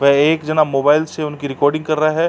व एक जना मोबाइल से उनकी रिकोर्डिंग कर रहा है।